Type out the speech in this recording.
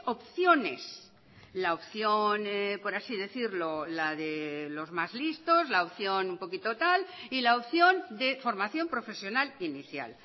opciones la opción por así decirlo la de los más listos la opción un poquito tal y la opción de formación profesional inicial